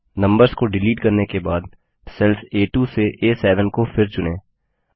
numbers को delete करने के बाद सेल्स आ2 टो आ7 को फिर चुनें